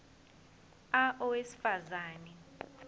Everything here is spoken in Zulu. a owesifaz ane